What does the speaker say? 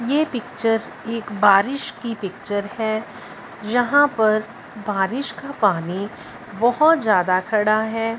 ये पिक्चर एक बारिश की पिक्चर है यहां पर बारिश का पानी बहोत ज्यादा खड़ा हैं।